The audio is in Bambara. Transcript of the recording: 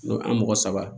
an mɔgɔ saba